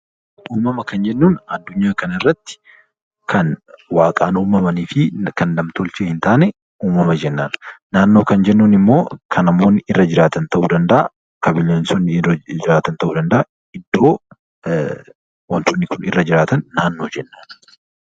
Uumama kan jennuun addunyaa kanarratti kan waaqaan uumamanii fi kan nam-tolchee hin taane uumama jenna. Naannoo kan jennuun immoo kan namoonni irra jiraatan ta'uu danda'a, kan bineensonni irra jiraatan ta'uu danda'a iddoo wantootni kun irra jiraatan naannoo jenna jechuudha.